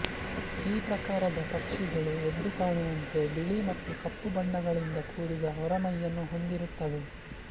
ಈ ಪ್ರಕಾರದ ಪಕ್ಷಿಗಳು ಎದ್ದುಕಾಣುವಂತೆ ಬಿಳಿ ಮತ್ತು ಕಪ್ಪು ಬಣ್ಣಗಳಿಂದ ಕೂಡಿದ ಹೊರಮೈಯನ್ನು ಹೊಂದಿರುತ್ತವೆ